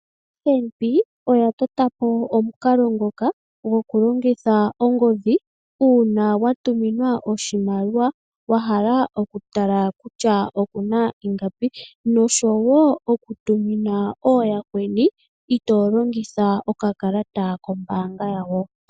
OFNB oya totapo omukalo ngoka gokulongitha ongodhi uuna wa tuminwa oshimaliwa wa hala okutala kutya okuna iingapi noshowo okutumina ooyakweni ito longitha okakalata kombanga yawo.